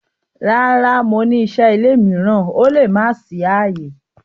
Rara, Mo n ni iṣẹ ile miiran Mo le ma ṣe aye.